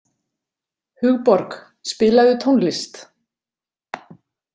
Hugborg, spilaðu tónlist.